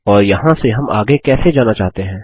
और यहाँ से हम आगे कैसे जाना चाहते हैं